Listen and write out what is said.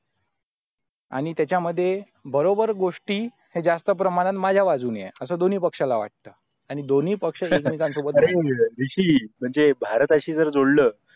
आणि तेचा मध्ये बरोबर गोष्टी जास्ती प्रेमानं माझा बाजूनी आहे असं दोनी पक्षला वाटत आणि दोनी पक्ष जर एकमेकानं सोबत म्हणेज भारताशी झोडल